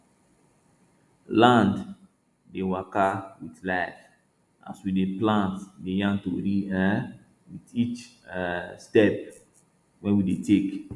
land dey waka wit life as we dey plant dey yarn tori um wit each um step wey we dey take